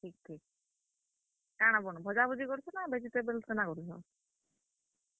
ଠିକ୍ ଠିକ୍, କାଣା ବନଉଛ୍, ଭଜା ଭୁଜି କରୁଛ ନାଁ vegetable କେନ୍ତା କରୁଛ?